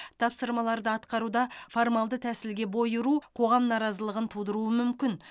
тапсырмаларды атқаруда формалды тәсілге бой ұру қоғам наразылығын тудыруы мүмкін